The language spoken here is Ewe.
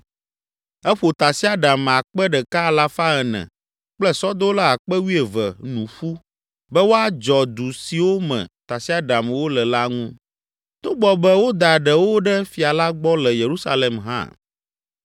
Eƒo tasiaɖam akpe ɖeka alafa ene (1,400) kple sɔdola akpe wuieve (12,000) nu ƒu be woadzɔ du siwo me tasiaɖamwo le la ŋu, togbɔ be woda ɖewo ɖe fia la gbɔ le Yerusalem hã.